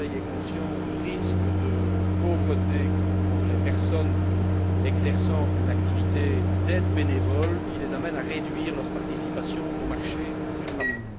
Le Conseil est conscient du risque de pauvreté que courent les personnes exerçant une activité d'aide bénévole, qui les amène à réduire leur participation au marché du travail.